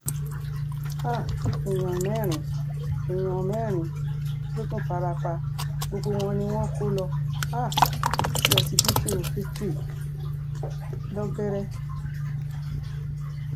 um èèyàn mẹ́rin èèyàn mẹ́rin ló tún farapa gbogbo wọn ni wọn kò lọ um sí ọsibítù victory lọ́gẹ́rẹ́